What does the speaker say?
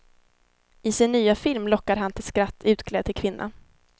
I sin nya film lockar han till skratt utklädd till kvinna.